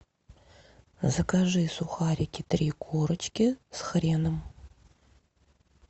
закажи сухарики три корочки с хреном